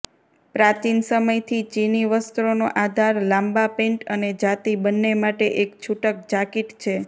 પ્રાચીન સમયથી ચિની વસ્ત્રોનો આધાર લાંબા પેન્ટ અને જાતિ બંને માટે એક છૂટક જાકીટ છે